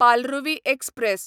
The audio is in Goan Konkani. पालरुवी एक्सप्रॅस